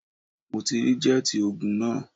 Mo ti rí jẹ́ẹ̀tì ogun náà